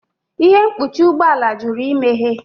Ihe mkpuchi ụgbọ ala jụrụ imeghe